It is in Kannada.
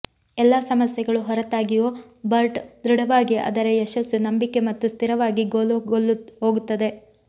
ಎಲ್ಲಾ ಸಮಸ್ಯೆಗಳು ಹೊರತಾಗಿಯೂ ಬರ್ಟ್ ದೃಢವಾಗಿ ಅದರ ಯಶಸ್ಸು ನಂಬಿಕೆ ಮತ್ತು ಸ್ಥಿರವಾಗಿ ಗೋಲು ಹೋಗುತ್ತದೆ